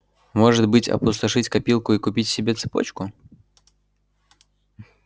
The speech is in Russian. может быть опустошить копилку и купить себе цепочку